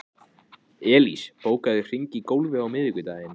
Elías, bókaðu hring í golf á miðvikudaginn.